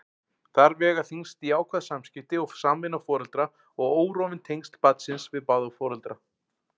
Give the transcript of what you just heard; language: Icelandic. Þar vega þyngst jákvæð samskipti og samvinna foreldra og órofin tengsl barnsins við báða foreldra.